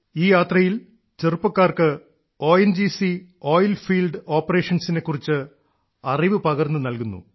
ഈ യാത്രയിൽ ചെറുപ്പക്കാർക്ക് O N G C oil field ഓപ്പറേഷൻസിനെ കുറിച്ച് അറിവു പകർന്നു നൽകുന്നു